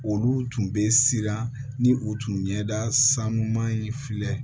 Olu tun bɛ siran ni u tun ɲɛda sanuman in filɛ